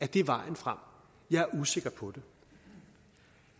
det vejen frem jeg er usikker på det